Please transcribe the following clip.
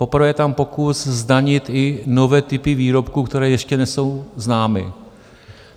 Poprvé je tam pokus zdanit i nové typy výrobků, které ještě nesou známy.